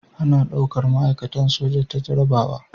A na daukar ma'aikatan soja ta jarrabawa